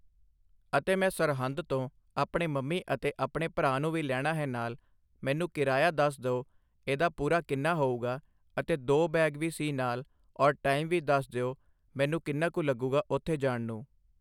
ਅਤੇ ਮੈਂ ਸਰਹੰਦ ਤੋਂ ਆਪਣੇ ਮੰਮੀ ਅਤੇ ਆਪਣੇ ਭਰਾ ਨੂੰ ਵੀ ਲੈਣਾ ਹੈ ਨਾਲ਼ ਮੈਨੂੰ ਕਰਾਇਆ ਦੱਸ ਦਿਉ ਇਹਦਾ ਪੂਰਾ ਕਿੰਨਾ ਹੋਊਗਾ ਅਤੇ ਦੋ ਬੈਗ ਵੀ ਸੀ ਨਾਲ਼ ਔਰ ਟਾਈਮ ਵੀ ਦੱਸ ਦਿਉ ਮੈਨੂੰ ਕਿੰਨਾ ਕੁ ਲੱਗੂਗਾ ਉੱਥੇ ਜਾਣ ਨੂੰ